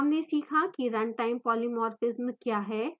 हमने सीखा कि run time polymorphism we है